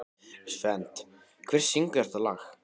Svend, hver syngur þetta lag?